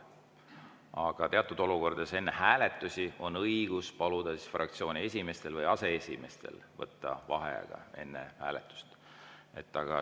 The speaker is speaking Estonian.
Aga teatud olukordades, enne hääletust on õigus paluda fraktsiooni esimehel või aseesimehel võtta vaheaeg.